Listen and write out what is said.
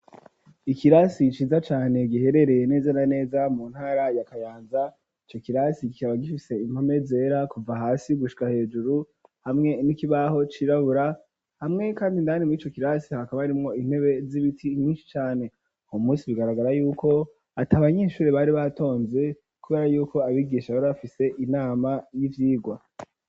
Ikirasi ciza cane giherereye neza na neza mu ntara ya kayanza ico kirasi gikaba gifise impome zera kuva hasi gushwa hejuru hamwe n'ikibaho cirabura hamwe kandi ndani murico kirasi hakaba arimwo intebe z'ibiti nkinshi cane homusi bigaragara yuko ati abanyeshuri bari batonze kubera yuko abigisha bari bafise inama y'ivyigwa.